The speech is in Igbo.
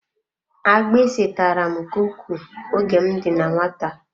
Agbisi tàrà m nke ukwuu oge m dị na nwata.